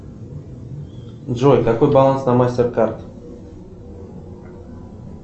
джой какой баланс на мастер кард